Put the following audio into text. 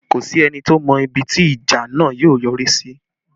Kò sí ẹni tó mọ ibi tí ìjà náà yóò yọrí sí